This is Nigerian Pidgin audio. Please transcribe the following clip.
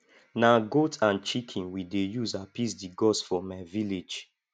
na goat and chicken we dey use appease di gods for my village